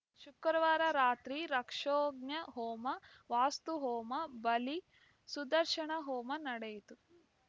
ಶುಕ್ರವಾರ ರಾತ್ರಿ ರಾಕ್ಷೋಘ್ನಹೋಮ ವಾಸ್ತು ಹೋಮ ಬಲಿ ಸುದರ್ಶನ ಹೋಮ ನಡೆಯಿತು